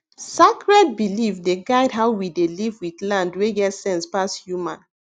sacred belief dey guide how we dey live with land wey get sense pass human